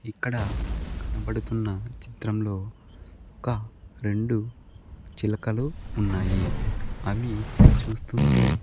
ఇక్కడ కనబడుతున్న చిత్రంలో ఒక రెండు చిలకలు ఉన్నాయి అవి చూస్తుంటే.